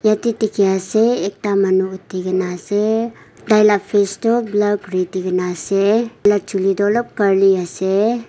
yete dikhia ase ekta manu uthi kina ase tai la face tho blur kuri di kina ase taila juli tho olob curly ase.